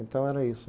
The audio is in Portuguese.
Então era isso.